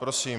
Prosím.